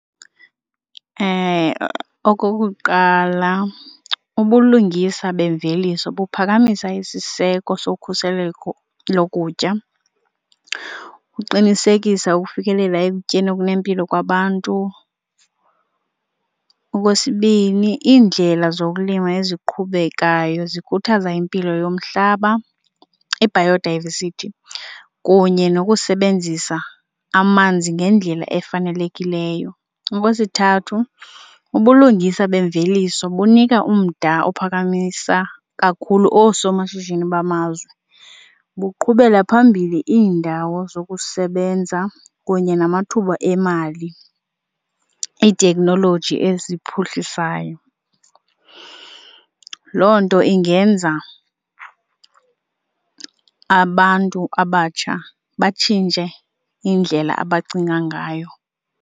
Okokuqala, ubulungisa bemveliso buphakamisa isiseko sokhuseleko lokutya ukuqinisekisa ukufikelela ekutyeni okunempilo kwabantu. Okwesibini, iindlela zokulima eziqhubekayo zikhuthaza impilo yomhlaba, i-biodiversity kunye nokusebenzisa amanzi ngendlela efanelekileyo. Okwesithathu, ubulungisa bemveliso bunika umda ophakamisa kakhulu oosomashishini bamazwe, buqhubela phambili iindawo zokusebenza kunye namathuba emali, iiteknoloji eziphuhlisayo. Loo nto ingenza abantu abatsha batshintshe indlela abacinga ngayo.